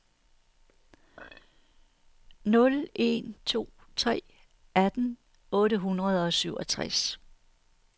nul en to tre atten otte hundrede og syvogtres